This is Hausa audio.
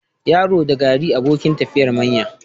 Yaro da gari abokin tafiyar manya.